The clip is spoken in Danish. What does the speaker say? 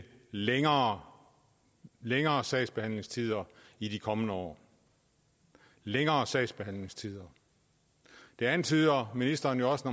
længere længere sagsbehandlingstider i de kommende år længere sagsbehandlingstider det antyder ministeren jo også